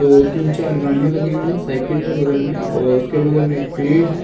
दो तीन चार गाड़ियाँ लगी हुई हैं। साइकिल है बगल में और उसके बगल में एक पेड़ है।